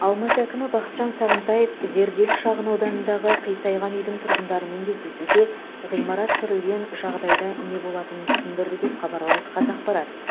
алматы әкімі бақытжан сағынтаев зерделі шағынауданындағы қисайған үйдің тұрғындарымен кездесуде ғимарат сүрілген жағдайда не болатынын түсіндірді деп хабарлайды қазақпарат